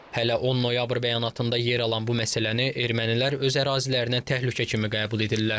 Hələ 10 noyabr bəyanatında yer alan bu məsələni ermənilər öz ərazilərinə təhlükə kimi qəbul edirlər.